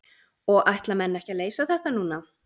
Og ætla menn ekki að leysa þetta núna?